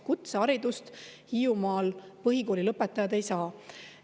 Kutseharidust Hiiumaal põhikooli lõpetajad ei saa.